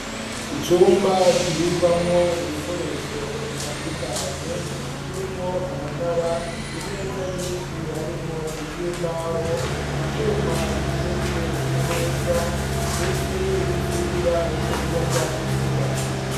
Icumba, kibikwamwo, ibikoresho bitandukanye; kirimwo, amatara, imeza nyinshi, harimwo iz'imbaho; ivyuma, biteretse ku meza, ndetse n'intsinga z'umuyagankuba.